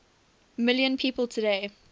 million people today